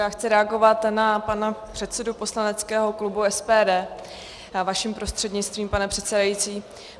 Já chci reagovat na pana předsedu poslaneckého klubu SPD vaším prostřednictvím, pane předsedající.